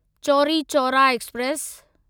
Chauri Chaura express